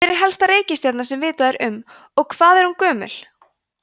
hver er elsta reikistjarnan sem vitað er um og hvað er hún gömul